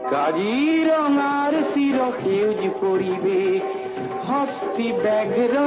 ସଂ ଭୂପେନ୍